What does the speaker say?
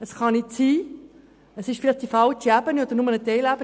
Es kann nicht sein, es ist vielleicht die falsche Ebene oder nur eine Teilebene.